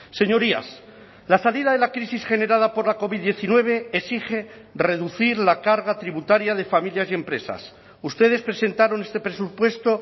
señorías la salida de la crisis generada por la covid diecinueve exige reducir la carga tributaria de familias y empresas ustedes presentaron este presupuesto